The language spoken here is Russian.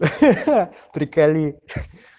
ха-ха приколи